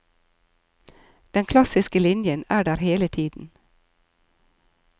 Den klassiske linjen er der hele tiden.